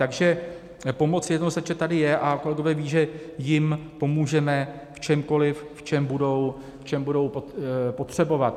Takže pomoc jednoznačně tady je a kolegové vědí, že jim pomůžeme v čemkoliv, v čem budou potřebovat.